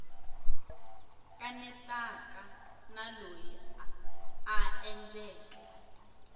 kanetaka na loyi a endleke